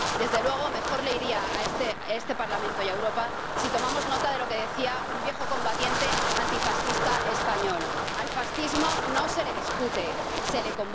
Desde luego, mejor les iría a este Parlamento y a Europa si tomáramos nota de lo que decía un viejo combatiente antifascista español al fascismo no se le discute, se le